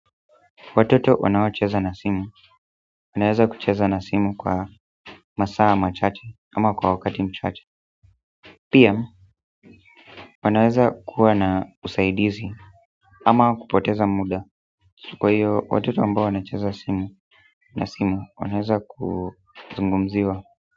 Watoto wanaocheza na simu, wanaweza kucheza na simu kwa masaa machache, ama kwa wakati mchache. Pia, wanaweza kuwa na usaidizi, ama kupoteza muda. Kwa hiyo, watoto ambao wanacheza na simu, wanaweza kuzungumziwa.